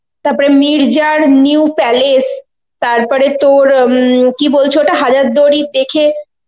তারপরে মির্জার new palace তারপরে তোর উম কি বলছে ওটা হাজারদুয়ারী দেখে